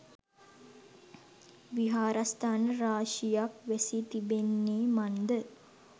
විහාරස්ථාන රාශියක් වැසී තිබෙන්නේ මන්ද?